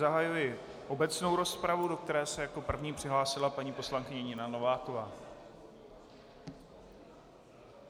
Zahajuji obecnou rozpravu, do které se jako první přihlásila paní poslankyně Nina Nováková.